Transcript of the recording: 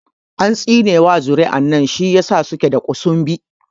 An tsine ma zuri'an nan shi ya sa suke da ƙusunbi